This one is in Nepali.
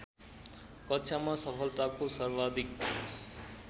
कक्षामा सफलताको सर्वाधिक